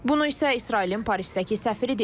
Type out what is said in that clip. Bunu isə İsrailin Parisdəki səfiri deyib.